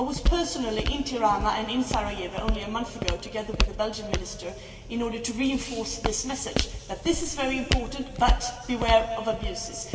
I was personally in Tirana and in Sarajevo only a month ago, together with the Belgian Minister, in order to reinforce this message, that this is very important but beware of abuses.